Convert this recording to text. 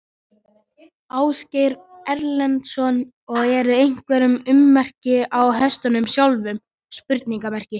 Ásgeir Erlendsson: Og eru einhver ummerki á hestunum sjálfum?